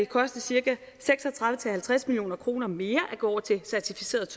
koste cirka seks og tredive til halvtreds million kroner mere at gå over til certificeret